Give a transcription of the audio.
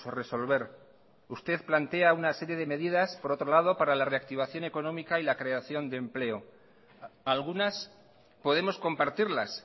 resolver usted plantea una serie de medidas por otro lado para la reactivación económica y la creación de empleo algunas podemos compartirlas